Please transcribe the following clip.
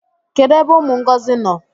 Kedu ebe umu Ngozi no?